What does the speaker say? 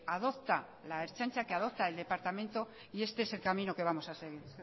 adopta la ertzaintza que adopta el departamento y este es el camino que vamos a seguir